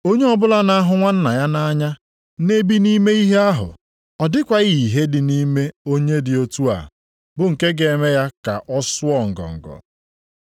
Onye ọbụla na-ahụ nwanna ya nʼanya na-ebi nʼime ihe ahụ ọ dịkwaghị ìhè dị nʼime onye dị otu a bụ nke ga-eme ya ka ọ sụọ ngọngọ.